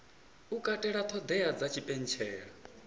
u katela ṱhoḓea dza tshipentshela